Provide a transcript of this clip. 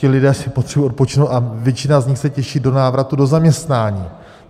Ti lidé si potřebují odpočinout a většina z nich se těší do návratu do zaměstnání.